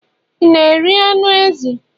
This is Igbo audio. ị na-eri anụ ezi?